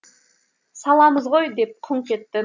саламыз ғой деп күңк етті